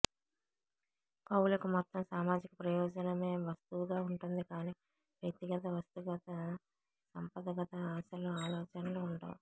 కవులకు మొత్తం సామాజిక ప్రయోజనమే వస్తువుగా ఉంటుందికానీ వ్యక్తిగత వస్తుగత సంపదగత ఆశలు ఆలోచనలూ ఉండవు